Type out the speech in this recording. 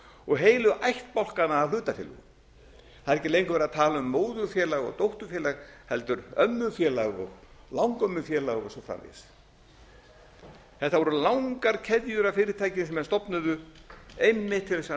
og heilu ættbálkana af hlutafélögum það er ekki lengur verið að tala um móðurfélag og dótturfélag heldur ömmufélag og langömmufélag og svo framvegis þetta voru langar keðjur af fyrirtækjum sem menn stofnuðu einmitt til þess að